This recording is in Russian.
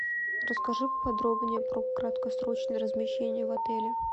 расскажи поподробнее про краткосрочное размещение в отеле